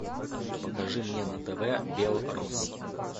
покажи мне на тв белрос